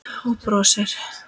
Og brosir.